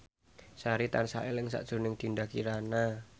Sari tansah eling sakjroning Dinda Kirana